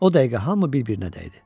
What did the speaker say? O dəqiqə hamı bir-birinə dəydi.